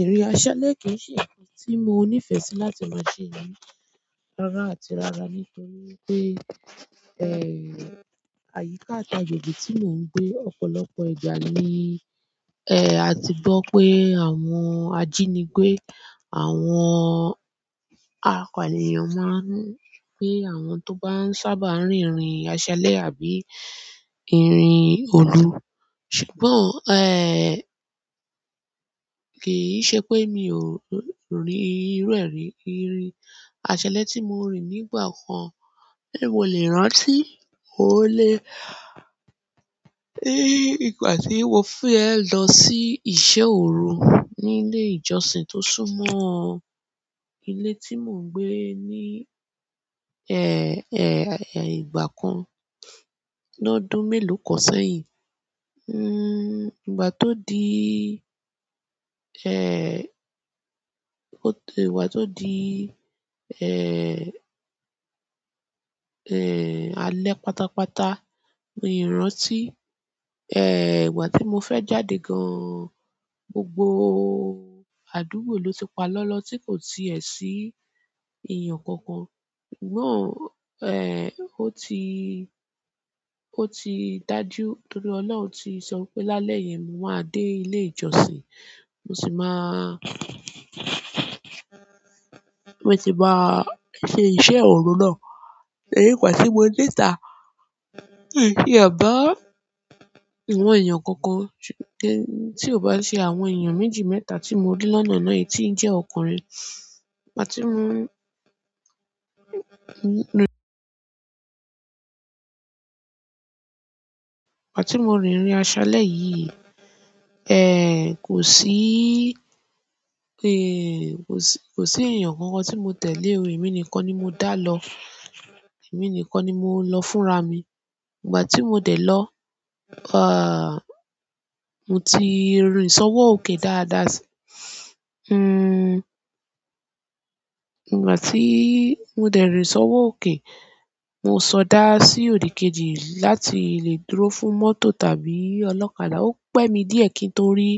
Ìrìn aṣálẹ́ kì í ṣe ǹkan tí mo níìfẹ̀ sì láti máa ṣe ní rárá àti rárá nítorí wipé, ẹ́, àyíká àti àjòjì tí mò ń gbé ọ̀pọ̀lọpọ̀ ìgbà ni ẹ. Ẹ̀, a ti gbọ́ pé àwọn ajínigbé, àwọn akọ̀ a ènìyàn máa ń gbé àwọn tó bá ń sábà rin ìrìn aṣálẹ́ àbí ìrìn òru. Ṣùgbọ́n, ẹ́, kì í ṣe pé èmi ò rí irú ẹ́-ìrìn aṣálẹ́ tí mo rí nígbà kan, ẹ́, mò lé rántí wò lé, ẹ́, ìgbà tí mo fẹ́ lọ sí iṣẹ́ òru ní ilé ìjọsìn tó súnmọ́ ilé tí mò ń gbé ní, ẹ́, ẹ́, ìgbà kan lọ́dún mélòó kan sẹ́yìn. N-igba tó di, ẹ́, ìgbà tó di, ẹ́, ẹ́, alẹ́ pátápátá, mi rántí, ẹ́, ìgbà tí mo fẹ́ jáde gan, gbogbo àdúgbò ló ti pa lọ́lọ́ tí kò ti ẹ sí èèyàn kankan. Ṣùgbọ́n, ẹ́, ó ti, ó ti dáju nítorí Ọlọ́run ti sọ pé lálẹ́ yẹ mo máa dé ilé ìjọsìn, mo sì máa, mo sì máa ṣe iṣẹ́ òru náà. Torí ígbà tí mo déta, mi ti ẹ bá awọ̀n èèyàn kankan, ṣùgbọ́n kí-- tí ó bá ṣe àwọn èèyàn méjì mẹ́ta tí mo rí lọ́nà ná yìí tí ń jẹ́ ọkùnrin. Ìgbà tí mò ń, ìgbà tí mo rin ìrìn aṣálẹ́ yìí, ẹ́, kò sí, ẹ́, kò sí, kò sí èèyàn kankan tí mo tẹ̀ lé o. Èmi nìkan ni mo dá lọ. Èmi nìkan ni mo lọ fúnra mi. Ìgbà tí mo dẹ̀ lọ, ah, mo ti rin ìsọwọ́ òkè dáadáa sí. Hmm, ìgbà tí mo dẹ̀ rin sọwọ́ òkè, mo sọdá sí òdìkejì láti lè dúró fún mọ́tò tàbí ọlọ́kadà. Ó pẹ́ mi díẹ̀ kí n tó rí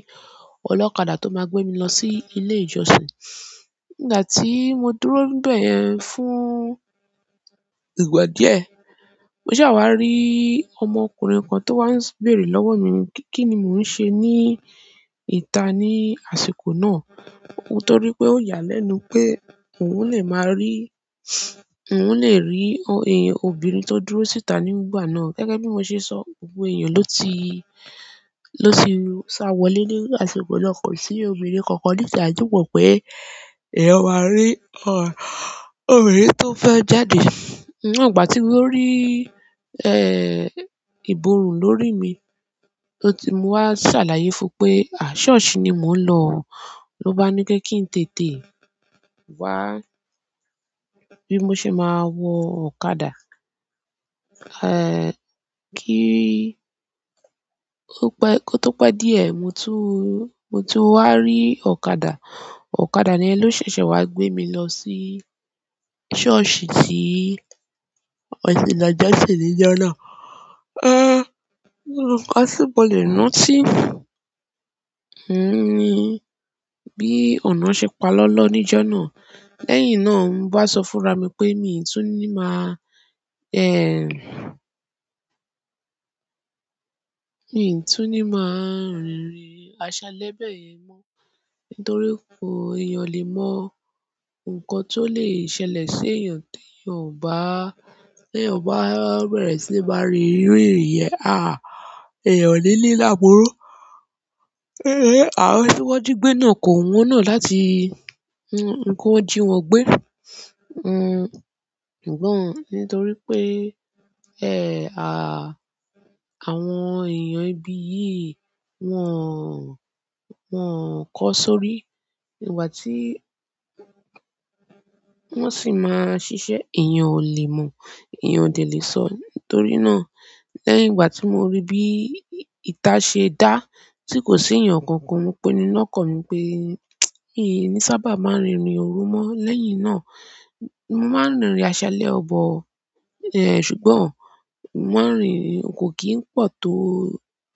ọlọ́kadà tó máa gbé mi lọ sí ilé ìjọsìn. Ìgbà tí mo dúró nibẹ́ yẹ fún ìgbà díẹ̀, mo sa wá rí ọmọkùnrin kan tó wá ń béèrè lọ́wọ́ mi kí ni mò ń ṣe ní ìta ní àsìkò náà. Nítorí pé ó yà lẹ́nu pé òun lè máa rí, òun lè rí, ẹ́, obìnrin tó dúró síta nígbà náà. Gẹ́gẹ́ bí mo ṣe sọ, gbogbo èèyàn ló ti, ló ti ṣàwọlé ní àsìkò náà, kò sí obìnrin kankan ní ìṣàájú pọ̀ pé, "eeyan máa rí, ọ̀, obìnrin tó fẹ́ jáde." Ìgbà tí ó rí, ẹ́, ìbòrùn lórí mi tí mo wá ṣàlàyé fún pé, "À, ṣọ́ọ̀ṣì ni mò ń lọ." ló bá ni pé kí n tètè wá bí mo ṣe máa wọ ọ̀kadà. Ẹ́, kí ó pẹ́, kó tó pé díẹ̀, mo tún, mo to wá rí ọ̀kadà. Ọ̀kadà yen ló ṣẹ̀ṣẹ̀ wá gbé mi lọ sí ṣọ́ọ̀ṣì tí mo ti lo jọsìn níjọ́ náà. A, nkan ti mo lé rántí ohun ní bí ọ̀nà ṣe pa lọ́lọ́ níjọ́ náà. Lẹ́yìn náà ń bá sọ fúnra mi pé mi ò tún ní máa, ẹ́, mi ò tún ní máa rin ìrìn aṣálẹ́ bẹ́ẹ̀ yẹn mọ́. Nítorí pé èèyàn le mọ nǹkan tó lè ṣẹlẹ̀ sí èèyàn tí èèyàn ò bá, tí èèyàn bá bẹ̀rẹ̀ sí máa rin iru ìrìn yen. À, èèyàn ò ni ri laburu àwọn ti won ji gbe na ko wu won na láti ni won, ki won ji won gbe, ṣùgbọ́n nítorí pe àwọn èèyàn ibi yìí wọ́n, wọ́n kọ sórí ìgbà tí wọ́n sì máa ṣiṣẹ́. Ẹ̀yàn ò lè mọ, èèyàn ò de lè sọ. Nítorí náà lẹ́yìn ìgbà tí mo rí bí ìta ṣe dá tí kò sí èèyàn kankan, mo pinu lọ́kàn mí pé, "mi ní sábà máa rin ìrìn òru mọ́." Lẹ́yìn náà, mo máa ń rin ìrìn aṣálẹ́ but. Ẹ́, ṣùgbọ́n mò ma ń rin kò kì í pọ̀ tó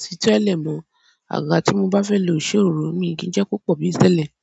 titele mo. Ìgbà tí mo bá fẹ́ lò iṣẹ́ òru mi kì í jẹ́ kó pọ̀ bí tẹ́lẹ̀.